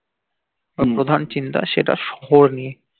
প্রধান চিন্তা সেটা শহর নিয়ে